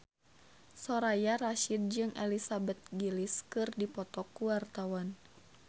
Soraya Rasyid jeung Elizabeth Gillies keur dipoto ku wartawan